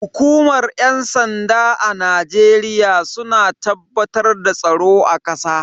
Hukumar yan sanda a Najeriya suna tabbatar da tsaro a kasa.